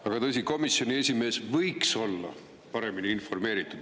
Aga tõsi, komisjoni esimees võiks olla paremini informeeritud.